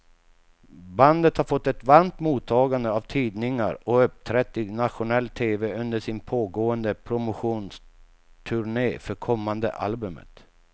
Bandet har fått ett varmt mottagande av tidningar och uppträtt i nationell tv under sin pågående promotionturné för kommande albumet.